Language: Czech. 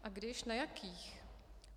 A když, na jakých?